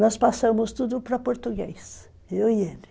Nós passamos tudo para português, eu e ele.